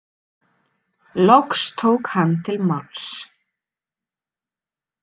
Loks tók hann til máls.